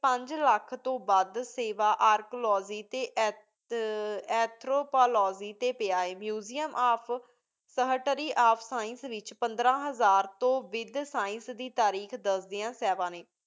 ਪੰਜ ਲਖ ਤੋ ਵਾਦ ਸੇਵਾ ਅਰ੍ਕ੍ਲੋਜ਼ੀ ਟੀ ਏਥ੍ਰੋਪੋਲੋਜ਼ੀ ਟੀ ਪਾਯਾ ਹੈ Museum ਆਪ ਸਹਤਰੀ ਆਪ science ਵਿਚ ਪੰਦ੍ਰ ਹਜ਼ਾਰ ਤੋ ਵਿਦ science ਦੇ ਤਾਰੀਖ ਦਸਦੀ ਨੀ